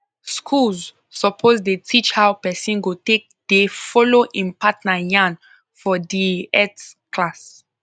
schools suppose dey teach how person go take dey follow em partner yan for dea health class